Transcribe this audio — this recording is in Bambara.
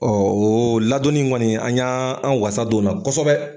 Ɔɔ o ladonni in kɔni an y'an wasa don o la kɔsɔbɛ.